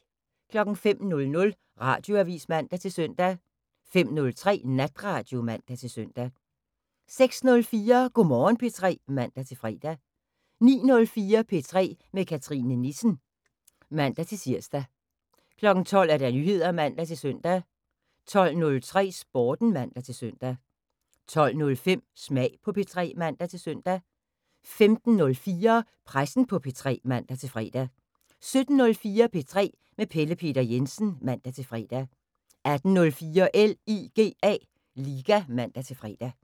05:00: Radioavis (man-søn) 05:03: Natradio (man-søn) 06:04: Go' Morgen P3 (man-fre) 09:04: P3 med Cathrine Nissen (man-tir) 12:00: Nyheder (man-søn) 12:03: Sporten (man-søn) 12:05: Smag på P3 (man-søn) 15:04: Pressen på P3 (man-fre) 17:04: P3 med Pelle Peter Jensen (man-fre) 18:04: LIGA (man-fre)